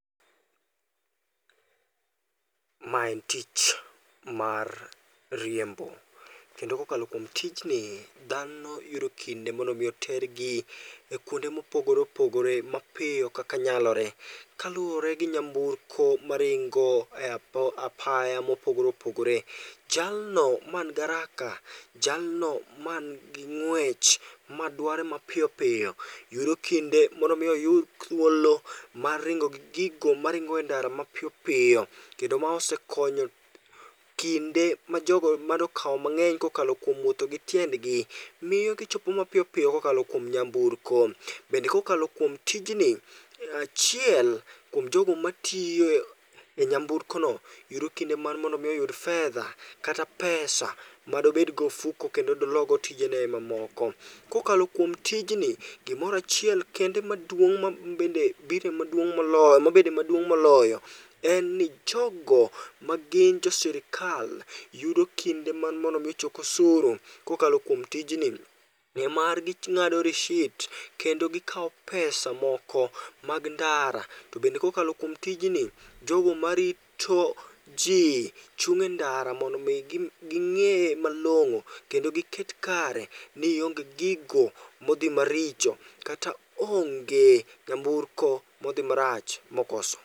Ma en tich mar riembo, kendo kokalo kuom tijni dhano yudo kinde mondo mi otergi kuonde mopogore opogore mapiyo kaka nyalore. Kaluwore gi nyamburko maringo e apaya mopogore opogore, jalno man garaka, jalno man gi ng'wech madware mapiyo piyo yudo kinde mondo mi oyud thuolo mar ringo gi gigo ma ringe ndara mapiyopiyo. Kendo ma osekonyo kinde ma jogo manokawo mang'eny kokalo kuom wuotho gi tiendgi, miyo gichopo mapiyo piyo kokalo kuom nyamburko. Bende kokalo kuom tijni, achiel kuom jogo matiye nyamburko no, yudo kinde mar mondo mi oyud fedha kata pesa madobedgo e ofuko kendo dologo tijene mamoko. Kokalo kuom tijni, gimorachiel kende maduong' ma bende bire maduong' molo, mabende maduong' moloyo en ni jogo magin jo sirikal yudo kinde mar mondo mi ochok osuru kokal kuom tijni. Ng'e mar ging'ado rishit kendo gikawo pesa moko mag ndara. To bende kokalo kuom tijni, jogo marito ji chung' e ndara mondo mi ging'e malong'o kendo giket kare ni ionge gigo modhi maricho kata onge nyamburko modhi marach mokoso.